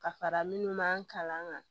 Ka fara minnu man kalan kan